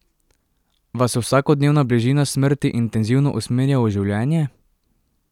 Vas vsakodnevna bližina smrti intenzivno usmerja v življenje?